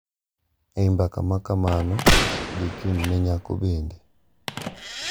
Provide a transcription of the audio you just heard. E I mbaka makamano, jochung`ne nyako bende,